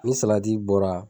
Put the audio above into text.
Ni salati bɔra